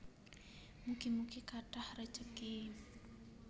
Mugi mugi kathah rejeki